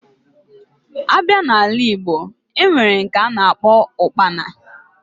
Abia na ala igbo, enwere nke ana akpo Ụkpana